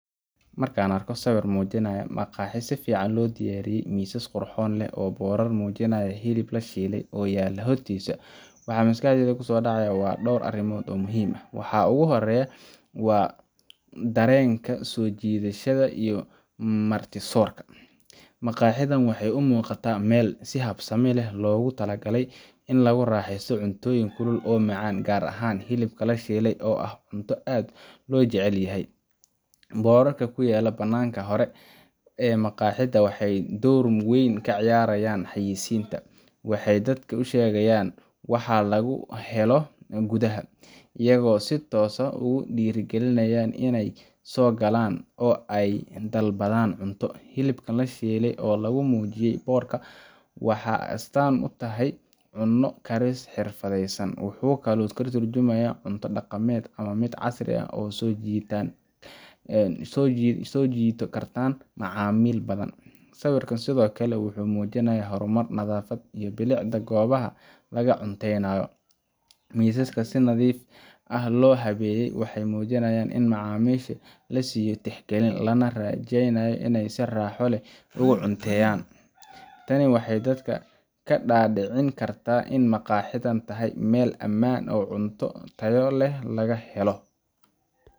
Marka aan arko sawir muujinaya maqaaxi si fiican loo diyaariyay, miisas qurxoon leh iyo boorar muujinaya hilib la shiilay oo yaalla hortiisa, waxa maskaxdayda ku soo dhacaya dhowr arrimood oo muhiim ah. Waxa ugu horreeya waa dareenka soo jiidashada iyo martisoorka maqaaxidan waxay u muuqataa meel si habsami leh loogu talagalay in lagu raaxeysto cuntooyin kulul oo macaan, gaar ahaan hilibka la shiilay oo ah cunto aad loo jecel yahay. Boorarka ku yaalla bannaanka hore ee maqaaxida waxay door weyn ka ciyaarayaan xayeysiinta waxay dadka u sheegayaan waxa lagu helo gudaha, iyagoo si toos ah ugu dhiirrigelinayan inay soo galaan oo ay dalbadaan cunto. Hilibka la shiilay oo lagu muujiyey boorka wuxuu astaan u tahay cunno karis xirfadaysan, wuxuu kaloo ka tarjumayaa cunto dhaqameed ama mid casri ah oo soo jiidan kartan macaamiil badan. Sawirka sidoo kale wuxuu muujinayaa horumar, nadaafad, iyo bilicda goobaha laga cunteeyo. Miisaska si nadiif ah loo habeeyey waxay muujinayaan in macaamiisha la siinayo tixgelin, lana rajeynayo in ay si raaxo leh ugu cunteeyaan. Tani waxay dadka ka dhaadhicin kartaa in maqaaxidan tahay meel ammaan ah oo cunto tayo leh laga helo.